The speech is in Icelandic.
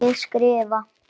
Ég skrifa.